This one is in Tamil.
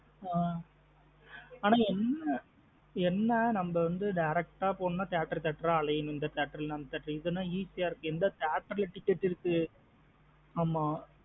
அஹ் அன்ன என்ன நம்ம direct ஆ போன theatre theatre ஆ அலையணும் இந்த theatre இல்லா அந்த theatre இது நா easy ஆ இருக்கு. எந்த theatre லா ticket இருக்கு ஆமா ஆ.